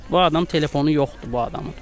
Heç bu adam telefonu yoxdur bu adamın.